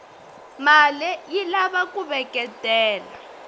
male yilava kuveketela